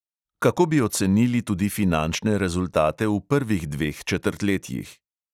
Kako bi ocenili tudi finančne rezultate v prvih dveh četrtletjih?